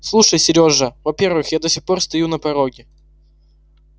слушай сережа во-первых я до сих пор стою на пороге